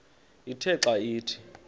ithe xa ithi